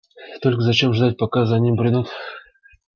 только зачем ждать пока за ним придут